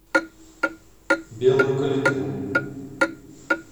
белую калитву